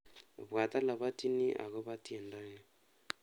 Ibwaat olabwatchini agoba tyendoni